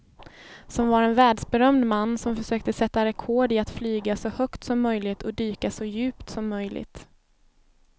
Som var en världsberömd man som försökte sätta rekord i att flyga så högt som möjligt och dyka så djupt som möjligt.